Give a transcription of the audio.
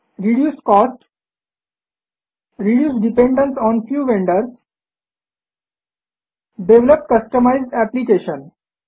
reduce cost reduce dependence on few vendors develop customized application